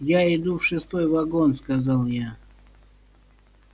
я иду в шестой вагон сказал я